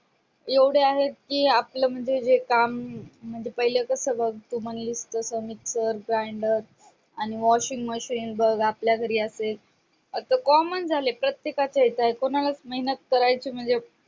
एवढे आहेत की आपल्या म्हणजे काम म्हणजे पहिले कसं बघ तू म्हणालीस तसं mixer blender आणि washing machine बघ आपल्या घरी असते आता common झाले प्रत्येकाच्या ह्याच्यात आहे कोणालाच मेहनत करायची